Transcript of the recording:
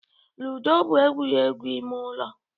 Ludo bụ egwuregwu ime ụlọ.